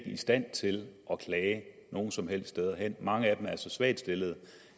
i stand til at klage nogen som helst steder mange af dem er så svagt stillede